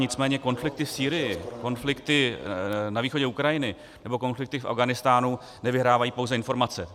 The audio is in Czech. Nicméně konflikty v Sýrii, konflikty na východě Ukrajiny nebo konflikty v Afghánistánu nevyhrávají pouze informace.